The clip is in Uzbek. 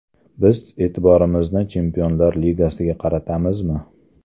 Biz e’tiborimizni Chempionlar Ligasiga qaratamizmi?